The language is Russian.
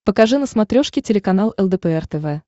покажи на смотрешке телеканал лдпр тв